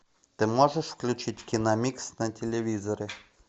ты можешь включить киномикс на телевизоре